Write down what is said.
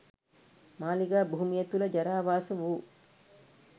මාලිගා භූමිය තුළ ජරාවාස වූ